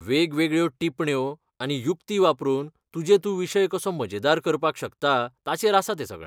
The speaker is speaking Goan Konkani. वेगवेगळ्यो टिपण्यो आनी युक्ती वापरून तुजे तूं विशय कसो मजेदार करपाक शकता ताचेर आसा तें सगळें.